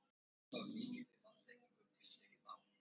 Ræður, ljóð, sögur og söngvar.